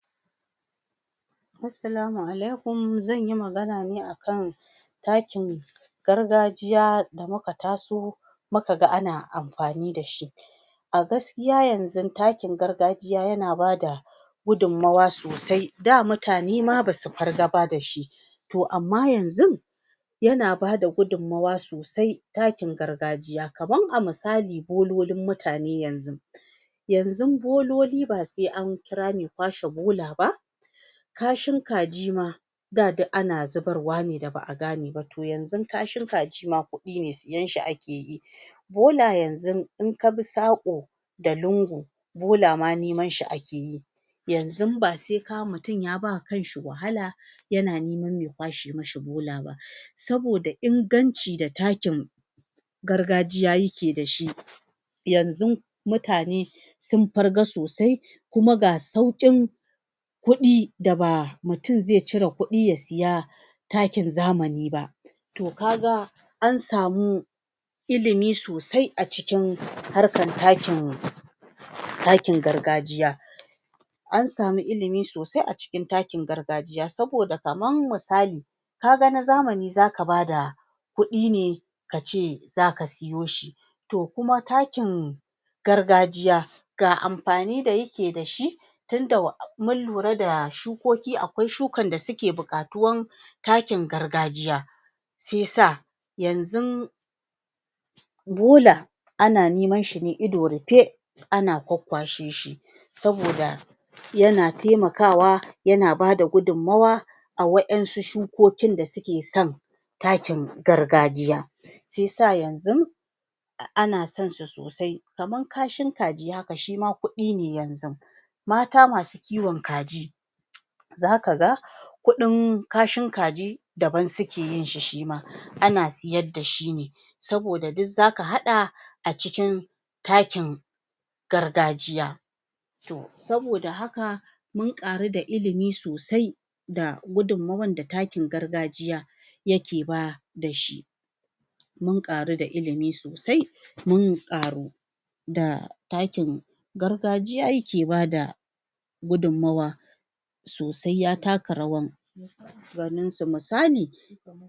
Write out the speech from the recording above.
Assalamu alaikum! Zan yi magana ne a kan takin gargajiya da muka taso muka ga amfani da shi a gaskiya yanzun takin gargajiya yana bada gudunmawa sosai. Da mutane ma ba su farga ba da shi to amma yanzun yana ba da gudunmawa sosai takin gargajiya, kamar a misali bololin mutane yanzun yanzun bololi ba sai an kira mai kwashe bola ba Kashin kaji ma, da, duk ana zubarwa ne da ba a gane ba. To yanzun kashin kaji ma kuɗi ne; sayen shi ake yi. Bola yanzun in ka bi saƙo da lungu bola ma neman shi ake yi yanzun ba sai ka, mutum ya ba kan shi yana neman mai kwashe mishi bola ba saboda inganci da takin gargajiya yake da shi. Yanzun mutane sun farga sosai kuma ga sauƙin kuɗi da ba mutum zai cire kuɗi ya saya takin zamani ba. To ka ga an samu ilimi sosai a cikin harkan takin gargajiya An samu ilimi sosai a cikin takin gargajiya saboda kaman misali ka ga na zamani za ka ba da kuɗi ne ka ce za ka sayo shi. To kuma takin gargajiya ga amfani da yake da shi tunda mun lura da shukoki, akwai shukan da suke buƙatuwan takin gargajiya shi ya sa yanzun bola ana neman shi ne ido rufe ana kwakkwashe shi saboda yana taimakawa yana ba da gudunmawa a wasu shukokin da suke son takin gargajiya. Shi ya sa yanzun ana sonsa sosai. Kamar kashin kaji haka shi ma kuɗi ne yanzun. Mata masu kiwon kaji za ka ga kuɗin kashin kaji daban suke yin shi shi ma ana sayar da shi ne saboda duk za ka haɗa a cikin takin gargajiya To, saboda haka, mun ƙaru da ilimi sosai da gudunmawan da takin gargajiya yake ba da shi. Mun ƙaru da ilimi sosai, mun ƙaru da takin gargajiya yake ba da gudunmawa sosai ya taka rawan ganinsu. Misali,